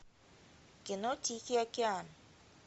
кино тихий океан